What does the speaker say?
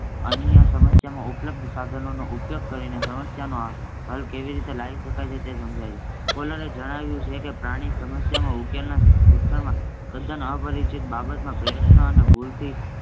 અન્ય સમસ્યામાં ઉપલબ્ધ સાધનોનો ઉપયોગ કરીને સમસ્યાનો હલ કેવી રીતે લાવી શકાય તે સમજાવે છે. કોલરે જણાવ્યું છે કે પ્રાણી સમસ્યા ઉકેલના શિક્ષકમાં તદ્દન અપરિચિત બાબતમાં પ્રયત્ન અને ભૂલથી